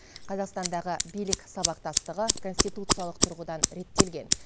қазақстандағы билік сабақтастығы конституциялық тұрғыдан реттелген